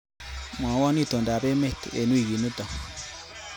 Mwawo itondoab emet eng wikinito